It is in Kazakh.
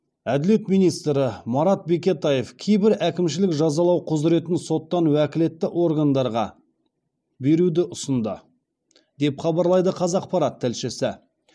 әділет министрі марат бекетаев кейбір әкімшілік жазалау құзыретін соттан уәкілетті органдарға беруді ұсынды деп хабарлайды қазақпарат тілшісі